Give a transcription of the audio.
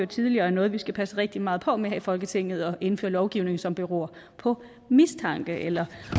tidligere er noget vi skal passe rigtig meget på med her i folketinget altså at indføre lovgivning som beror på mistanke eller